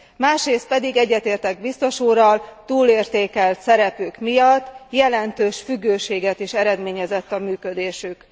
Másrészt pedig egyetértek biztos úrral túlértékelt szerepük miatt jelentős függőséget is eredményezett a működésük.